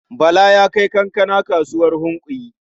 Bala ya kai kankana kasuwar Hunkuyi.